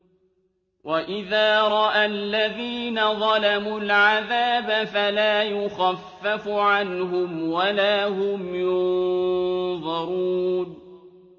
وَإِذَا رَأَى الَّذِينَ ظَلَمُوا الْعَذَابَ فَلَا يُخَفَّفُ عَنْهُمْ وَلَا هُمْ يُنظَرُونَ